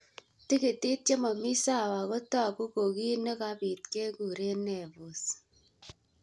Tigitik che mamii sawa ko taku kuu kii ne kapit nekikure Nevus.